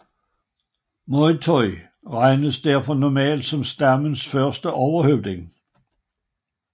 Moytoy regnes derfor normalt som stammen første overhøvding